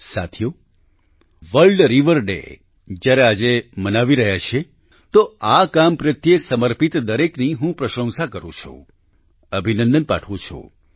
સાથીઓ world river day જ્યારે આજે મનાવી રહ્યા છીએ તો આ કામ પ્રત્યે સમર્પિત દરેકની હું પ્રશંસા કરું છું અભિનંદન પાઠવું છું